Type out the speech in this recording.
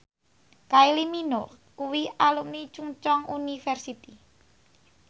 Kylie Minogue kuwi alumni Chungceong University